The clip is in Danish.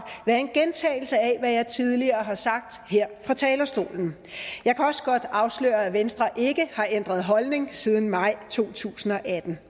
være en gentagelse af hvad jeg tidligere har sagt her fra talerstolen jeg kan også godt afsløre at venstre ikke har ændret holdning siden maj to tusind og atten